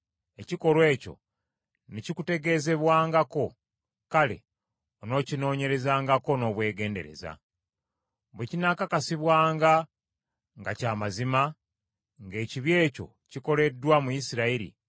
ekikolwa ekyo ne kikutegeezebwangako; kale onookinoonyerezangako n’obwegendereza. Bwe kinaakakasibwanga nga kya mazima, ng’ekibi ekyo kikoleddwa mu Isirayiri,